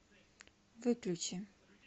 выключи